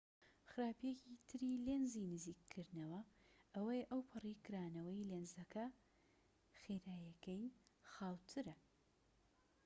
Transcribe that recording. خراپیەکی تری لێنزی نزیککردنەوە ئەوەیە ئەوپەڕی کرانەوەی لێنزەکە خێراییەکەی خاووترە